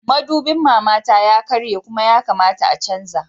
Madubin mamata ya karye Kuma ya kamata a canza